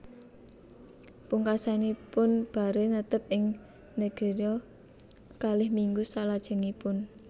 Pungkasanipun Barre netep ing Nigeria kalih minggu salajengipun